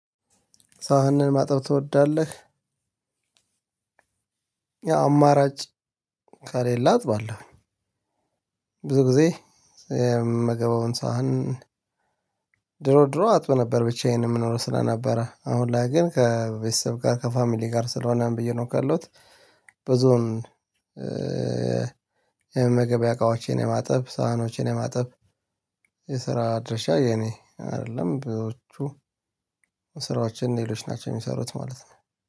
ሳህንህን ማጠብ ትወዳለህ? ያው አማራጭ ከሌለ አጥባለሁኝ። ብዙ ጊዜ የምመገበውን ሳህን ድሮ ድሮ አጥብ ነበር ብቻዬን የምኖረው ስለነበረ፤ አሁን ላይ ግን ከቤተሰብ ጋር ከፋሚሊ ጋር ስለሆነም እየኖርኩ ያለሁት፣ ብዙም የመገቢያ እቃዎችን የማጠብ ሳህኖችን የማጠብ የስራ ድርሻ የኔ አይደለም። ብዙዎቹ ስራዎችን ሌሎች ናቸው የሚሰሩት ማለት ነው።